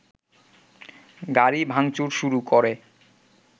গাড়ি ভাংচুর শুরু করে